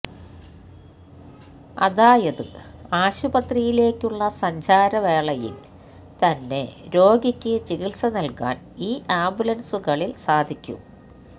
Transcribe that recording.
അതായത് ആശുപത്രിയലേക്കുള്ള സഞ്ചാരവേളയില് തന്നെ രോഗിക്ക് ചികിത്സ നല്കാന് ഈ ആംബുലന്സുകളില് സാധിക്കും